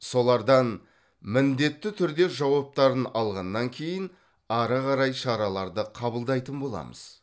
солардан міндетті түрде жауаптарын алғаннан кейін ары қарай шараларды қабылдайтын боламыз